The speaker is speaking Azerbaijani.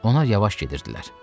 Onlar yavaş gedirdilər.